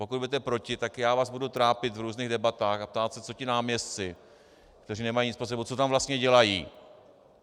Pokud budete proti, tak já vás budu trápit v různých debatách a ptát se, co ti náměstci, kteří nemají nic pod sebou, co tam vlastně dělají.